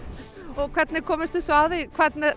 og hvernig komust þið svo að því hvernig